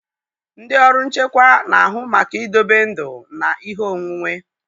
Ndị ọrụ nchekwa na-ahụ maka idobe ndụ na ihe onwunwe.